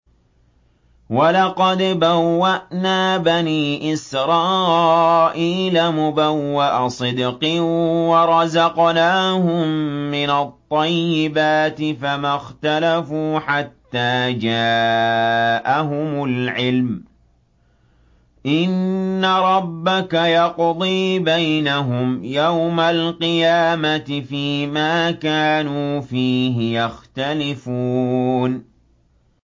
وَلَقَدْ بَوَّأْنَا بَنِي إِسْرَائِيلَ مُبَوَّأَ صِدْقٍ وَرَزَقْنَاهُم مِّنَ الطَّيِّبَاتِ فَمَا اخْتَلَفُوا حَتَّىٰ جَاءَهُمُ الْعِلْمُ ۚ إِنَّ رَبَّكَ يَقْضِي بَيْنَهُمْ يَوْمَ الْقِيَامَةِ فِيمَا كَانُوا فِيهِ يَخْتَلِفُونَ